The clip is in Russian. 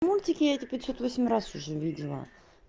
мультики эти пятьсот восемь раз уже видела